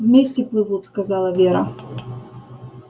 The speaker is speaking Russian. вместе плывут сказала вера